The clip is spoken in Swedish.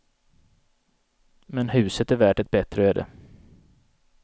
Men huset är värt ett bättre öde.